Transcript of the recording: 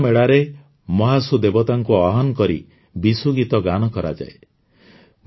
ଜାଗରା ମେଳାରେ ମହାସୁ ଦେବତାଙ୍କୁ ଆହ୍ୱାନ କରି ବିସୁ ଗୀତ ଗାନ କରାଯାଏ